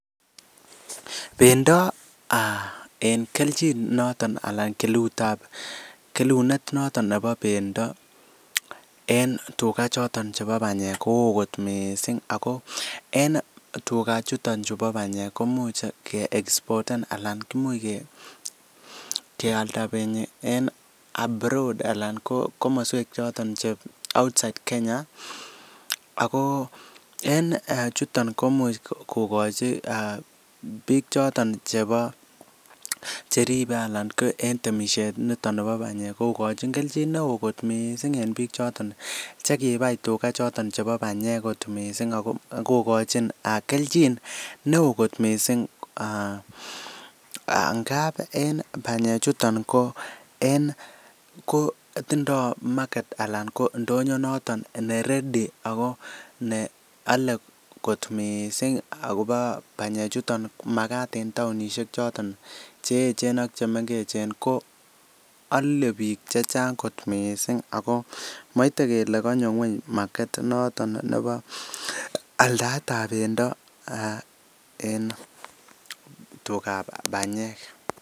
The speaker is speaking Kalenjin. Bendo um en kelchin noton alan kelutab kelunet noton nebo bendo en tuga choton chebo panyek ko wo kot missing', ago en tuga chuton chubo panyek komuch keexpoten anan kealda penyi en abroad alan ko komoswek choton che outside Kenya. Ago en um chuton komuch kokochi bichoton chebo cheribe ala ko en temisiet niton nebo panyek kokochin kelchin neo kot missing' en pichoton chekibai tuga choton chebo panyek kot missing' ak kokochin kelchin neo kot missing'. Ngap en panyechuton ko en tindo market alan ko ndonyo noton neredy neole kot missing' agobo panyekchuton makat en taonisiek choton cheechen ak chemengechen ko ole biik chechang' kot missing. Moite kele konyo ngwony market inoton nebo aldaetab pendo en tukab panyek.